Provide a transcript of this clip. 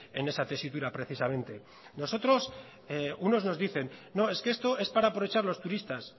en esa tesitura precisamente nosotros unos nos dicen no es que esto es para aprovechar los turistas